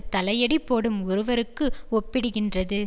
தலையடி போடும் ஒருவருக்கு ஒப்பிடுகின்றது